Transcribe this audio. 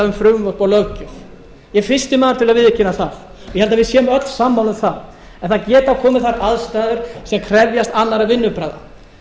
um frumvörp og löggjöf ég er fyrsti maður til að viðurkenna það ég held að við séum öll sammála um að það geta komið þær aðstæður sem krefjast annarra vinnubragða